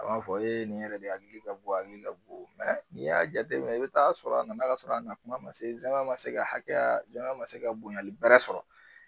A b'a fɔ e yɛrɛ de hakili ka bɔ a hakili ka bon n'i y'a jateminɛ i bɛ taa sɔrɔ a nana ka sɔrɔ a na kuma ma se zɛma ma se ka hakɛya jama ma se ka bonyali bar sɔrɔ